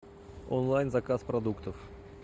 онлайн заказ продуктов